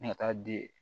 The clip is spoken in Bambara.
Ne ka taa di yen